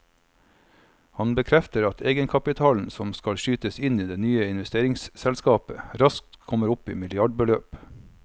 Han bekrefter at egenkapitalen som skal skytes inn i det nye investeringsselskapet raskt kommer opp i milliardbeløp.